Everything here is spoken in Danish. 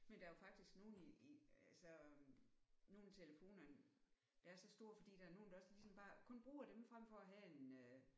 Men der er jo faktisk nogle i i altså nogle af telefonerne der er så store fordi der er nogle der også ligesom bare kun bruger dem frem for at have en